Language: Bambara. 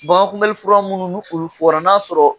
Bangankunbɛli fura minnu n'olu fɔra n'a y'a sɔrɔ